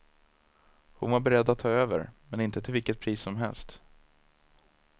Hon var beredd att ta över, men inte till vilket pris som helst.